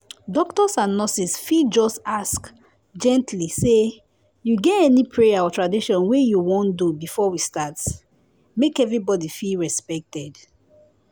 doctors and nurses fit just ask gently say “you get any prayer or tradition wey you wan do before we start?”—make everybody feel respected